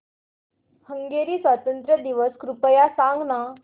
Hungary स्वातंत्र्य दिवस कृपया सांग ना